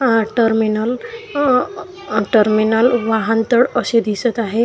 हा टर्मिनल अ टर्मिनल वाहनतळ अशे दिसत आहे.